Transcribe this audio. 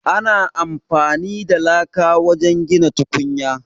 Ana amfani da laka wajen gina tukunya.